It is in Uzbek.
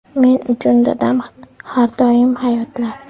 Men uchun dadam har doim hayotlar.